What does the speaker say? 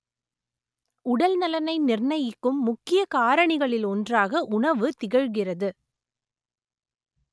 உடல் நலனை நிர்ணயிக்கும் முக்கிய காரணிகளில் ஒன்றாக உணவு திகழ்கிறது